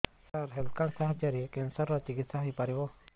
ସାର health card ସାହାଯ୍ୟରେ cancer ର ଚିକିତ୍ସା ହେଇପାରିବ